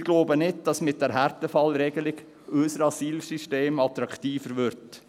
Wir glauben nicht, dass unser Asylsystem mit der Härtefallregelung attraktiver würde.